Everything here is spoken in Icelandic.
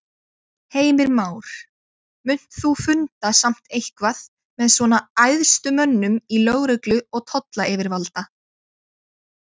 Heimir Már: Munt þú funda samt eitthvað með svona æðstu mönnum í lögreglu og tollayfirvalda?